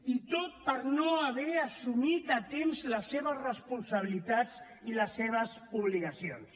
i tot per no haver assumit a temps les seves responsabilitats i les seves obligacions